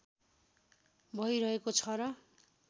भइरहेकेको छ र